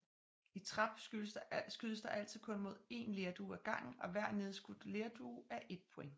I trap skydes der altid kun mod én lerdue ad gangen og hver nedskudt lerdue er ét point